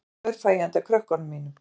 Þrjú pör fæ ég handa krökkunum mínum